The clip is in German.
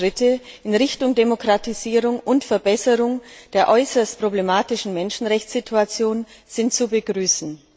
Und alle Schritte in Richtung Demokratisierung und Verbesserung der äußerst problematischen Menschenrechtssituation sind zu begrüßen.